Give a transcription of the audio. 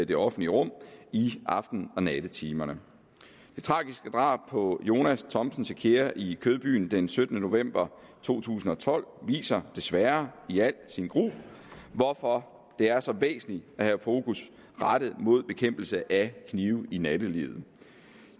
det offentlige rum i aften og nattetimerne det tragiske drab på jonas thomsen sekyere i kødbyen den syttende november to tusind og tolv viser desværre i al sin gru hvorfor det er så væsentligt at have fokus rettet mod bekæmpelse af knive i nattelivet